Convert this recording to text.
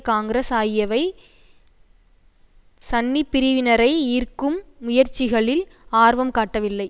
காங்கிரஸ் ஆகியவை சன்னி பிரிவினரை ஈர்க்கும் முயற்சிகளில் ஆர்வம் காட்டவில்லை